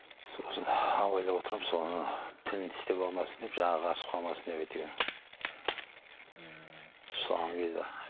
сосын абайлап отырамын сол ана тілін тістеп алмасын деп жағы қарысып қалмасын деп әйтеуір ммм